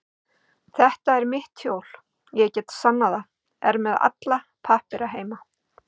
Þetta er mitt hjól, ég get sannað það, er með alla pappíra heima.